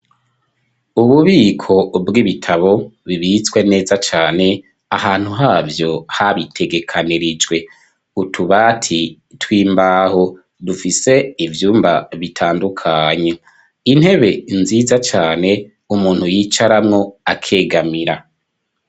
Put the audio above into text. Ububiko bw'ibitabo bibitswe neza cane ahantu habyo habitegekanirijwe utubati twimbaho dufise ibyumba bitandukanye intebe nziza cane umuntu yicaramwo akegamira.